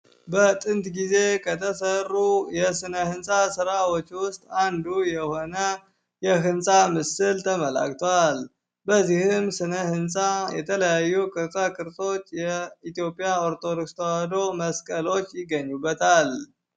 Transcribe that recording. በጥንት ጊዜ ከተሰሩ የስነ ሕንፃ ሥራዎች ውስጥ አንዱ የሆነ የህንፃ ምስል ተመላክቷል በዚህም ስነ ሕንፃ የተለያዩ ቅርጽ ቅርጽች የኢትዮጵያ ኦርቶዶክስ መስቀሎች ይገኙበታል።